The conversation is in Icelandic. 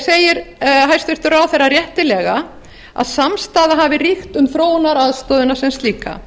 segir hæstvirtur ráðherra réttilega að samstaða hafi ríkt um þróunaraðstoðina sem slíka